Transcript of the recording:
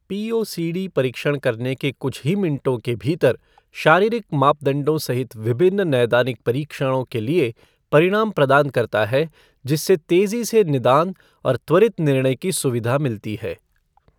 POCD परीक्षण करने के कुछ ही मिनटों के भीतर शारीरिक मापदंडों सहित विभिन्न नैदानिक परीक्षणों के लिए परिणाम प्रदान करता है, जिससे तेज़ी से निदान और त्वरित निर्णय की सुविधा मिलती है।